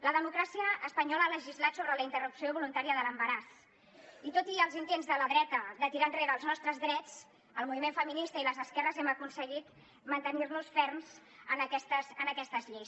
la democràcia espanyola ha legislat sobre la interrupció voluntària de l’embaràs i tot i els intents de la dreta de tirar enrere els nostres drets el moviment feminista i les esquerres hem aconseguit mantenir nos ferms en aquestes lleis